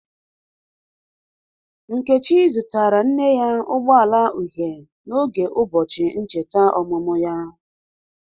Nkechi zụtara nne ya ụgbọ ala uhie n'oge ụbọchị ncheta ọmụmụ ya.